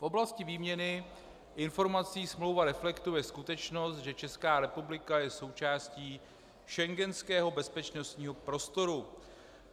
V oblasti výměny informací smlouva reflektuje skutečnost, že Česká republika je součástí schengenského bezpečnostního prostoru.